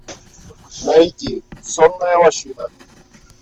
найти сонная лощина